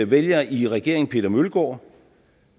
vælger i regeringen peter mølgaard